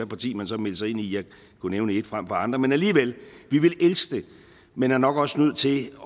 parti man så meldte sig ind i jeg kunne nævne et frem for andre men alligevel vi ville elske det men er nok også nødt til